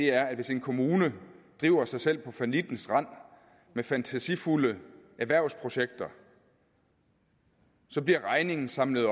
er at hvis en kommune driver sig selv på fallittens rand med fantasifulde erhvervsprojekter bliver regningen samlet